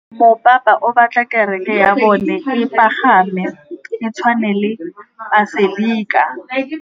Mopapa o batla kereke ya bone e pagame, e tshwane le paselika.